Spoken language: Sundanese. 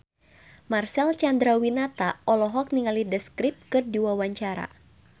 Marcel Chandrawinata olohok ningali The Script keur diwawancara